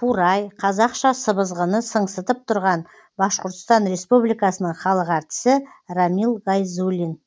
қурай қазақша сыбызғыны сыңсытып тұрған башқұртстан республикасының халық әртісі рамил гайзуллин